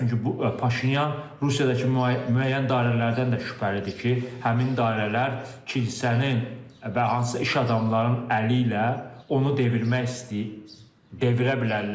Çünki bu Paşinyan Rusiyadakı müəyyən dairələrdən də şübhəlidir ki, həmin dairələr kilsənin və hansısa iş adamlarının əli ilə onu devirmək istəyir, devirə bilərlər.